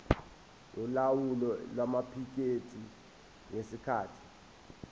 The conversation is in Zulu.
yolawulo lwamaphikethi ngesikhathi